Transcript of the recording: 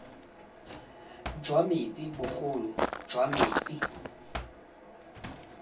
jwa metsi bogolo jwa metsi